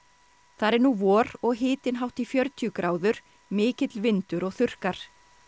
þar er nú vor og hitinn hátt í fjörutíu gráður mikill vindur og þurrkar